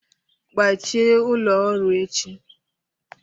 Gbachie ụlọ ọrụ echi!